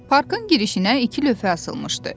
Parkın girişinə iki lövhə asılmışdı.